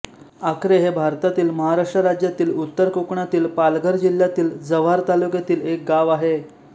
आकरे हे भारतातील महाराष्ट्र राज्यातील उत्तर कोकणातील पालघर जिल्ह्यातील जव्हार तालुक्यातील एक गाव आहे